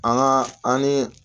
An ka an ni